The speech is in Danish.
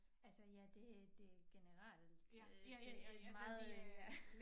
Altså ja det det generelt øh det meget øh